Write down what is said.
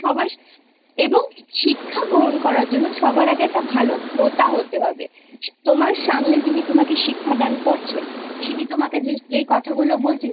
সবা এবং শিক্ষা গ্রহণ করার জন্য সবার আগে একটা ভালো শ্রোতা হতে হবে তোমার সামনে যিনি তোমাকে শিক্ষা দান করছে তিনি তোমাকে যেই কথাগুলো বলছেন